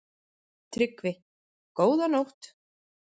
TRYGGVI: Góða nótt!